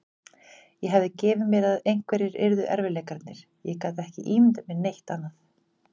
Ég hafði gefið mér að einhverjir yrðu erfiðleikarnir, ég gat ekki ímyndað mér neitt annað.